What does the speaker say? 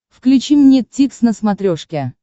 включи мне дтикс на смотрешке